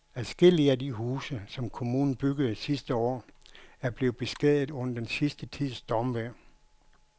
Adskillige af de huse, som kommunen byggede sidste år, er blevet beskadiget under den sidste tids stormvejr.